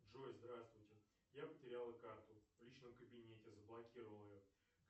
джой здравствуйте я потеряла карту в личном кабинете заблокировала ее